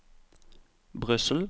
Brussel